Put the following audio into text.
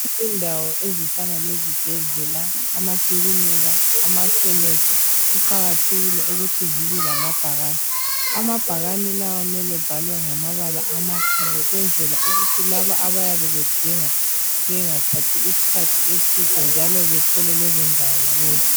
Izindawo ezifana lezibhedlela, amakiliniki, amakhemesi kuqakathekile ukuthi zibe lamabhakane. Amabhakane lawa mele ebelamabala amakhulu kwenzela ukuthi laba abayabe bedinga bengathathi isikhathi eside, njalo bethole lezo ndawo lula.